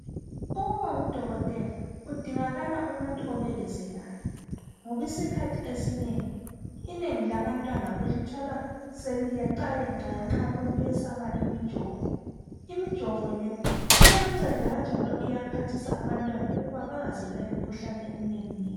Ukuba ngudokotela kudingakala umuntu obekezelayo, ngobisikhathi esinengi, inengi labantwana ulithola seliyeqayeqa ngenxa yokwesaba imijovo. Imijovo le iyanceda kanjalo iyaphathisa abantwana ukuba bangazelwa yimikhuhlane eminenginengi.